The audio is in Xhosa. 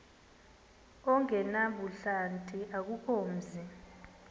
ongenabuhlanti akukho mzi